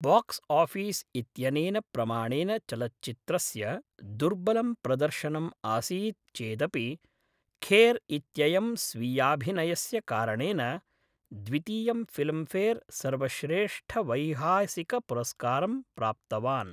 Box office इत्यनेन प्रमाणेन चलच्चित्रस्य दुर्बलं प्रदर्शनम् आसीत् चेदपि खेर् इत्ययं स्वीयाभिनयस्य कारणेन द्वितीयं फिल्म्फेर् सर्वश्रेष्ठवैहासिकपुरस्कारं प्राप्तवान्।